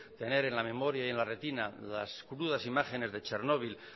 tener en la memoria y en la retina las crudas imágenes de chernobil